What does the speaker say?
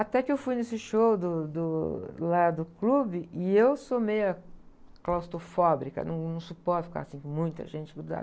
Até que eu fui nesse show do, do, lá do clube, e eu sou meia claustrofóbica, não suporto ficar assim com muita gente grudada.